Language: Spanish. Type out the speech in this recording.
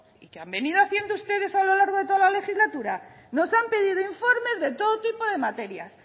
y qué han venido haciendo ustedes a lo largo de toda la legislatura nos han pedido informes de todo tipo de materias